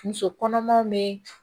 Muso kɔnɔmaw be